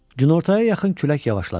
Günortaya yaxın külək yavaşladı.